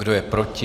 Kdo je proti?